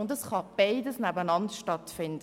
Beides kann nebeneinander stattfinden.